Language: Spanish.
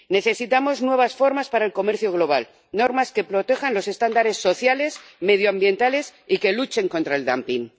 Necesitamos nuevas formas para el comercio global, normas que protejan los estándares sociales, medioambientales y que luchen contra el dumping